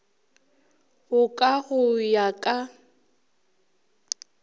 bo ka go ya ka